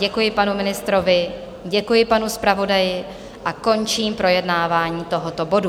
Děkuji panu ministrovi, děkuji panu zpravodaji a končím projednávání tohoto bodu.